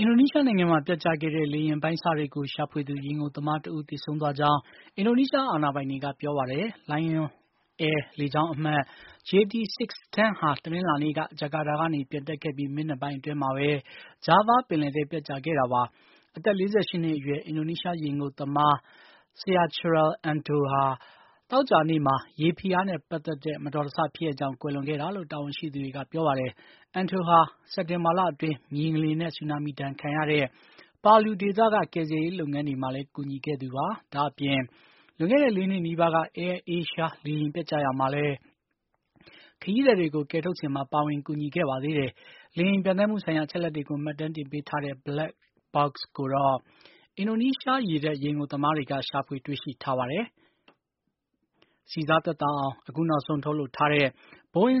အင်ဒိုနီးရှားနိုင်ငံမှာ ပျက်ကျခဲ့တဲ့ လေယာဉ်အပိုင်းအစတွေကို ရှာဖွေသူ ရေငုပ်သမား တဦး သေဆုံးသွားကြောင်း အင်ဒိုနီးရှား အာဏာပိုင်တွေကပြောပါတယ်။ Lion Air လေကြောင်းအမှတ် JT 610 ဟာ တနင်းလာနေ့က ဂျကာတာကနေ ပျံတက်ခဲ့ပြီး မိနစ်ပိုင်းအတွင်းမှာပဲ Java ပင်လဲထဲ ပျက်ကျခဲ့တာပါ။ အသက် ၄၈ နှစ်အရွယ် အင်ဒိုနီးရှား ရေငုပ်သမား Syachrul Anto ဟာ သောကြာနေ့မှာ ရေဖိအားနဲ့ ပတ်သက်တဲ့ မတော်တဆဖြစ်ရပ်ကြောင့် ကွယ်လွန်ခဲ့တာလို့ တာဝန်ရှိသူတွေက ပြောပါတယ်။ Anto ဟာ စက်တင်္ဘာလအတွင်း မြေငလျင်နဲ့ ဆူနာမီဒဏ်ခံရတဲ့ Palu ဒေသက ကယ်ဆယ်ရေးလုပ်ငန်းတွေမှာလည်း ကူညီခဲ့သူပါ။ ဒါ့အပြင် လွန်ခဲ့တဲ့ ၄ နှစ် နီးပါးက Air Asia လေယာဉ်ပျက်ကျရာမှာလည်း ခရီးသည်တွေ ကယ်ထုတ်စဉ်မှာ ပါဝင်ကူညီခဲ့ပါသေးတယ်။ လေယာဉ် ပျံသန်းမှုဆိုင်ရာ အချက်အလက်တွေကို မှတ်တမ်းတင်ပေးထားတဲ့ Black Box တွေ ကိုတော့ အင်ဒိုနီးရှား ရေတပ် ရေငုပ်သမားတွေက ရှာဖွေတွေ့ရှိထားပါတယ်။ ဆီစား သက်သာ အောင် အခုနောက်ဆုံး ထုတ်လုပ်ထားတဲ့ Boeing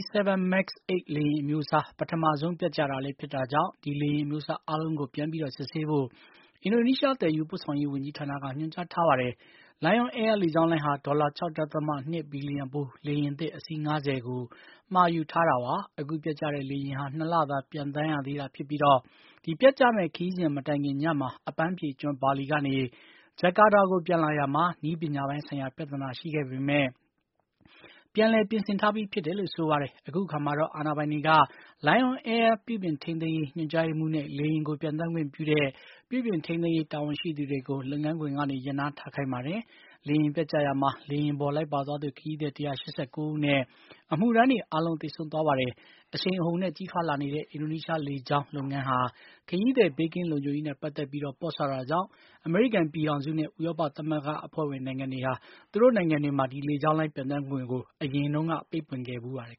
737 MAX 8 လေယာဉ်အမျိုးအစာ ပထမဆုံး ပျက်ကျတာလည်း ဖြစ်တာကြောင့် ဒီလေယာဉ် အမျီုးအစားအားလုံးကို ပြန်ပြီး စစ်ဆေးဖို့ အင်ဒိုနီး ရှား သယ်ယူပို့ဆောင်ရေး ဝန်ကြီးဌာနက ညွှန်ကြားထားပါတယ်။ Lion Air လေကြောင်းလိုင်းဟာ ဒေါ်လာ ၆.၂ ဘီလျံဖို့း လေယာဉ်သစ် အစီး ၅၀ မှာယူထားတာပါ။ အခုပျက်ကျတဲ့လေယာဉ်ဟာ ၂ လသာ ပျံသန်းရသေးတာဖြစ်ပြီး ဒီပျက်ကျမယ့် ခရီးစဉ် မတိုင်ခင် ညမှာ အပန်းဖြေကျွန်း ဘာလီကနေ ဂျကာတာကို ပျံသန်းလာရာမှာ နည်းပညာပိုင်းဆိုင်ရာ ပြဿနာ ရှိခဲ့ပေမယ့် ပြန်လည်ပြင်ဆင်ထားပြီးဖြစ်တယ်လို့ ဆိုပါတယ်။ အခုအခါမှာတော့ အာဏာပိုင်တွေ Lion Air ပြုပြင်ထိန်းသိမ်းရေး ညွှန်ကြားရေးမှူးနဲ့ လေယာဉ်ကို ပျံသန်းခွင့်ပြုခဲ့တဲ့ ပြုပြင်ထိန်းသိမ်းရေး တာဝန်ရှိသူတွေကို လုပ်ငန်းခွင်ကနေ ရပ်နားထားခိုင်းပါ တယ်။ လေယာဉ်ပျက်ကျရာမှာ လေယာဉ်ပေါ်လိုက်ပါသွားသူ ခရီးသည် ၁၈၉ ဦးနဲ့ အမှုထမ်းတွေ အားလုံး သေဆုံးသွားပါတယ်။ အရှိန်အဟုန်နဲ့ ကြီးထွားလာနေတဲ့ အင်ဒိုနီးရှား လေကြောင်း လုပ်ငန်းဟာ ခရီးသည်ဘေးကင်းလုံခြုံရေးမှာ ပေါ့ဆတာကြောင့် အမေရိကန်ပြည်ထောင်စု နဲ့ ဥရောပသမဂ္ဂအဖွဲ့ဝင် နိုင်ငံတွေဟာ သူတို့နိုင်ငံတွေမှာ ဒီလေကြောင်းလိုင်း ပျံသန်းခွင့်ကို အရင်က ပိတ်ပင်ခဲ့ဖူးပါတယ်